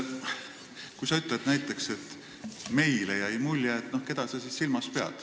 Kui sa ütlesid näiteks, et meile jäi mulje, siis keda sa silmas pidasid ...